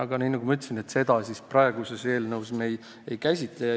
Aga nagu ma ütlesin, seda me eelnõus ei käsitle.